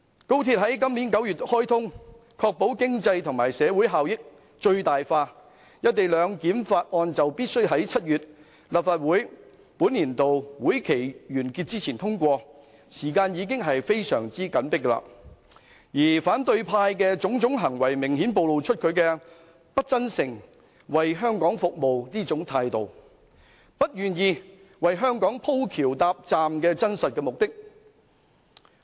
高鐵將在今年9月開通，確保經濟和社會效益最大化，而《條例草案》必須在立法會本年度會期於7月完結前通過，時間已經非常緊迫，而反對派的種種行為明顯暴露其不真誠為香港服務的態度，以及不願意為香港"鋪橋搭站"的真正目的。